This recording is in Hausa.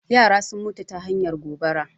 Yara sun mutu ta hanyar gobara